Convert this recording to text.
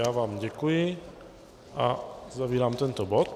Já vám děkuji a uzavírám tento bod.